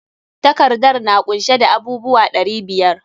Takardar na kunshe da abub uwa ɗari biyar.